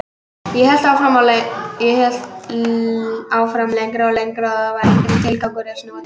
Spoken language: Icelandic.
Ég hélt áfram lengra og lengra, það var enginn tilgangur í að snúa til baka.